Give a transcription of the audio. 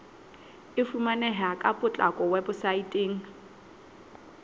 e fumaneha ka potlako weposaeteng